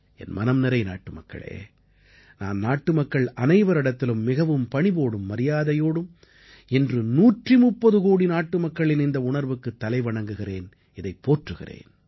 என் மனம்நிறை நாட்டுமக்களே நான் நாட்டுமக்கள் அனைவரிடத்திலும் மிகவும் பணிவோடும் மரியாதையோடும் இன்று 130 கோடி நாட்டுமக்களின் இந்த உணர்வுக்குத் தலைவணங்குகிறேன் இதைப் போற்றுகிறேன்